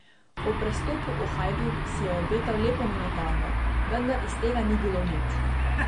Ob prestopu v Hajduk si je obetal lepo minutažo, vendar iz tega ni bilo nič.